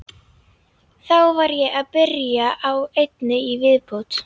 Þá var ég að byrja á einni í viðbót.